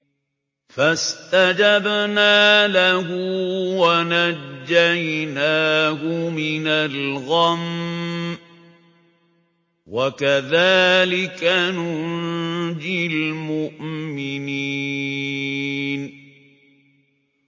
فَاسْتَجَبْنَا لَهُ وَنَجَّيْنَاهُ مِنَ الْغَمِّ ۚ وَكَذَٰلِكَ نُنجِي الْمُؤْمِنِينَ